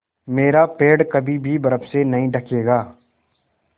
मेरा पेड़ कभी भी बर्फ़ से नहीं ढकेगा